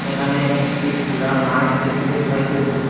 এখানে একটি খুলা মাঠ দেখিতে পাইতেসি।